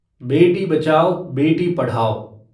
बेटी बचाओ बेटी पढ़ाओ